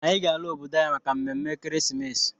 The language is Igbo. Anyị ga-ala obodo anyị maka mmemme ekeresimesi.